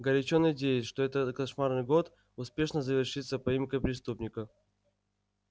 горячо надеюсь что этот кошмарный год успешно завершится поимкой преступника